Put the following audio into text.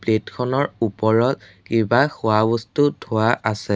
Plate খনৰ ওপৰত কিবা খোৱা বস্তু থোৱা আছে।